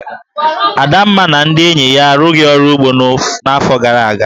Adamma na ndị enyi ya arụghị ọrụ ugbo n'afọ gara aga.